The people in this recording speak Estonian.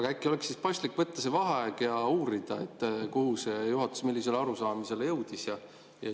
Aga äkki oleks siis paslik võtta vaheaeg ja uurida, millisele arusaamisele juhatus jõudis.